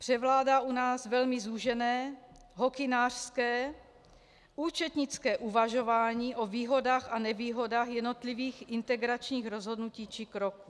Převládá u nás velmi zúžené hokynářské, účetnické uvažování o výhodách a nevýhodách jednotlivých integračních rozhodnutí či kroků.